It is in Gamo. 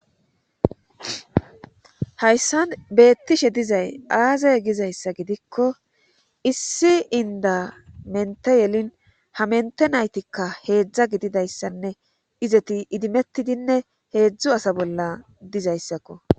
Hayssan beettishe dizay aazey gizayssa gidikko issi inda mente yelin ha mente naytikka heedzdza gididayssanne izeti idimettidinne heedzdzu asa bolla dizayssakko.